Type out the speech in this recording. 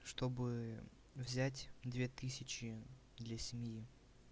чтобы взять две тысячи для семьи